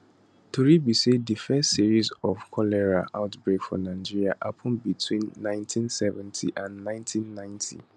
tori be say di first series of cholera outbreaks for nigeria happun between 1970 and 1990